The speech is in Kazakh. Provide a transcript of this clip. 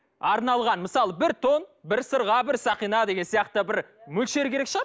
арналған мысалы бір тон бір сырға бір сақина деген сияқты бір мөлшер керек шығар